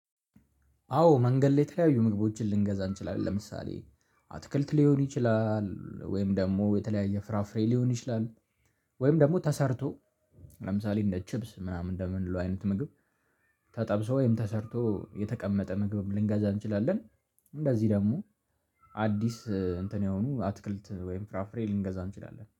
አዎ መንገድ ላይ የተለያዩ ምግቦችን ልንገዛ እንችላለን። ለምሳሌ አትክልት ሊሆን ይችላል ወይም ደግሞ የተለያየ ፍራፍሬ ሊሆን ይችላል። ወይም ደግሞ ተሰርቶ ለምሳሌ እንደ ቺብስ ምናምን እንደምንለው አይነት ምግብ ተጠብሶ ወይም ተሰርቶ የተቀመጠ ምግብ ልንገዛ እንችላለን። እንደዚህ ደግሞ አዲስ እንትን የሆኑ አትክልት ወይም ፍራፍሬ ልንገዛ እንችላለን